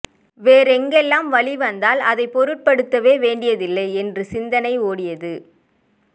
வேறு எங்கெல்லாம் வலி வந்தால் அதைப் பொருட்படுத்தவேண்டியதில்லை என்று சிந்தனை ஓடியது